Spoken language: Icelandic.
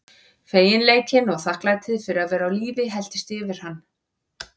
Feginleikinn og þakklætið fyrir að vera á lífi helltist yfir hann.